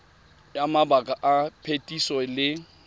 ya mabaka a phetiso le